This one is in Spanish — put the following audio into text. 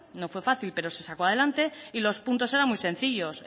no fue fácil pero se sacó adelante y los puntos eran muy sencillos